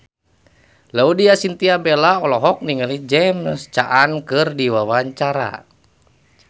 Laudya Chintya Bella olohok ningali James Caan keur diwawancara